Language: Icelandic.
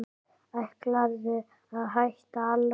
Ætlarðu að hætta alveg.